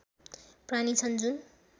प्राणी छन् जुन